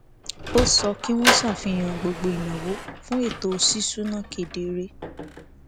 ó sọ kí wọn ṣàfihàn gbogbo ìnáwó fún ètò ṣíṣúná kedere